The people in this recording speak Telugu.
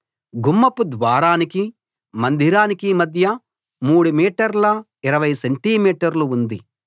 గుమ్మపు ద్వారానికి మందిరానికి మధ్య 3 మీటర్ల 20 సెంటి మీటర్లు ఉంది